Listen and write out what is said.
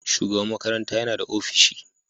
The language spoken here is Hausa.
Shugaban makaranta yana da ofishi.